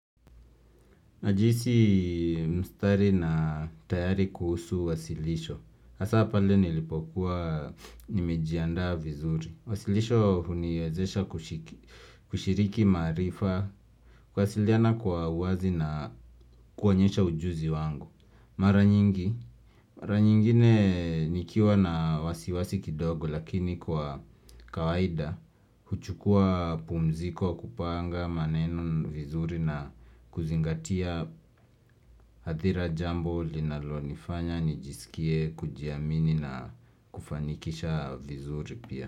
Najihisi mstari na tayari kuhusu wasilisho. Hasa pale nilipokuwa nimejiandaa vizuri Wasilisho huniwezesha kushiriki maarifa kuwasiliana kwa uwazi na kuonyesha ujuzi wangu Mara nyingi, mara nyingine nikiwa na wasiwasi kidogo lakini kwa kawaida, huchukua pumziko kupanga maneno vizuri na kuzingatia athira jambo linalonifanya nijisikie kujiamini na kufanikisha vizuri pia.